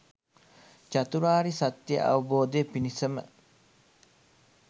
චතුරාර්ය සත්‍යය අවබෝධය පිණිසම